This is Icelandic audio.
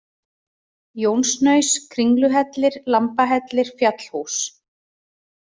Jónshnaus, Kringluhellir, Lambahellir, Fjallhús